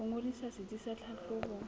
ho ngodisa setsi sa tlhahlobo